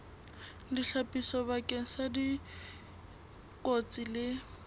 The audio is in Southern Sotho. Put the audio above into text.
ditlhapiso bakeng sa dikotsi le